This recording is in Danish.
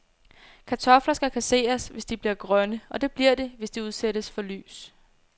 Kartofler skal kasseres, hvis de bliver grønne, og det bliver de, hvis de udsættes for lys.